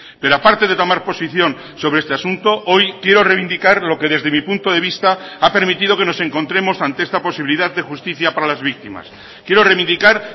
pero aparte de tomar posición sobre este asunto hoy quiero reivindicar lo que desde mi punto de vista ha permitido que nos encontremos ante esta posibilidad de justicia para las víctimas quiero reivindicar